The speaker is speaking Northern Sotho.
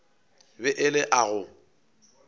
be e le a go